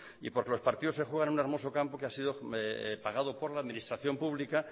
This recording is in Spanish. y porque los partidos se juegan en un hermoso campo que ha sido pagado por la administración pública